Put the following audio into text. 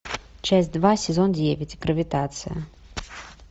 часть два сезон девять гравитация